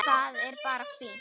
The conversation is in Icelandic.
Það er bara fínt!